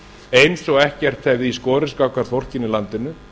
eins og ekkert hefði í skorist gagnvart fólkinu í landinu